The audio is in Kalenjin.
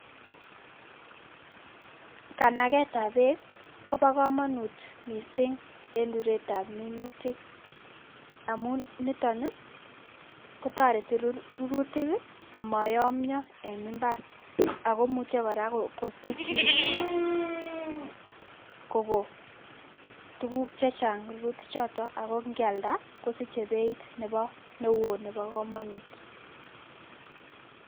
Kanaket tab beek kobo kamanut missing eng ruret tab minutik amun niton kotoreti rurutik amayamio eng imbar, ako muche kora kosich tukuk chechang rurutichoto ako ngealda kosiche beit nebo neu nebo kamanut.